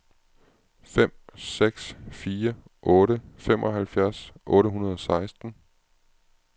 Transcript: fem seks fire otte femoghalvfjerds otte hundrede og seksten